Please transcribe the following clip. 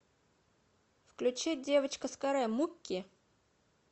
включи девочка с каре мукки